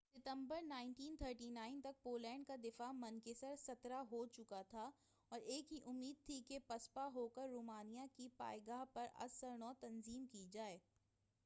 17 ستمبر 1939ء تک پولینڈ کا دفاع منکسر ہو چکا تھا اور ایک ہی امید تھی کہ پسپا ہوکر رومانیا کی پائے گاہ پر از سر نو تنظیم کی جائے